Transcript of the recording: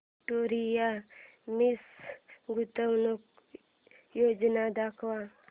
Victoria Mills गुंतवणूक योजना दाखव